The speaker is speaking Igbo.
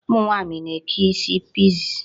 Ụmụ nwaanyị na-eke isi pixie.